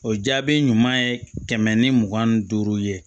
O jaabi ɲuman ye kɛmɛ ni mugan ni duuru ye